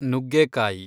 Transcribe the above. ನುಗ್ಗೇಕಾಯಿ